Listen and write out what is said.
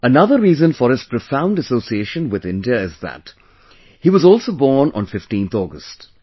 Another reason for his profound association with India is that, he was also born on 15thAugust